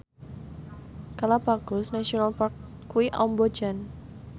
Galapagos National Park kuwi amba jan